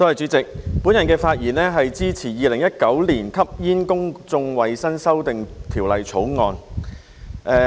主席，我的發言是支持《2019年吸煙條例草案》。